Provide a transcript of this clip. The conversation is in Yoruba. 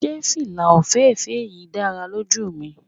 Se fila ofeefee yii dara loju mi